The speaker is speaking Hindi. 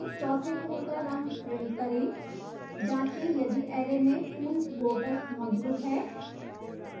चौथे फूल का रंग print करें